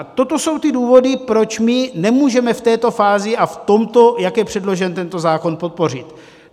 A toto jsou ty důvody, proč my nemůžeme v této fázi a v tomto, jak je předložen tento zákon, podpořit.